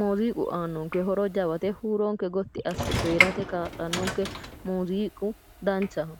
muziiqu aannonke horo jawate huuronke Gotti asse coyrate kaa'lannonke muziiqu danchaho